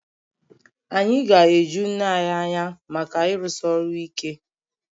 Anyị ga-eju nne anyị anya maka ịrụsi ọrụ ike